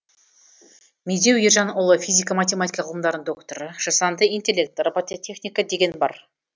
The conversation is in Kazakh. медеу ержанұлы физика математика ғылымдарының докторы жасанды интеллект робототехника деген бар